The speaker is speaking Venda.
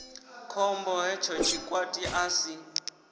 khombo hetsho tshikwati a si